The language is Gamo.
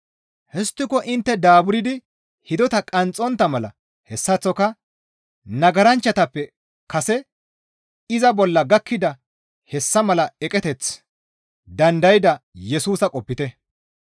Histtiko intte daaburdi hidota qanxxontta mala hessaththoka nagaranchchatappe kase iza bolla gakkida hessa mala eqeteth dandayda Yesusa qopite.